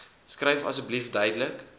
skryf asseblief duidelik